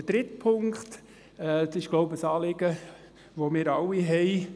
Der dritte Punkt ist, glaube ich, ein Anliegen, das wir alle haben.